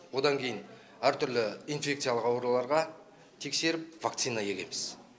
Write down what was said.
одан кейін әртүрлі инфекциялық ауруларларға тексеріп вакцина егеміз